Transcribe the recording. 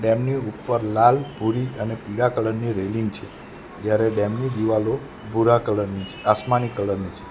એમની ઉપર લાલ ભૂરી અને પીળા કલર ની રેલિંગ છે જ્યારે ડેમ ની દીવાલો ભૂરા કલર ની છે આસમાની કલર ની છે.